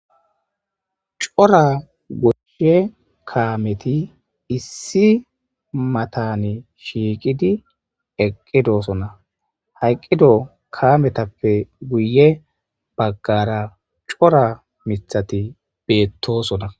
Cora goshshe kaameti issi matane shiiqidi eqqidosona hayqqido kametappe guye baggara cora mithati beettosona.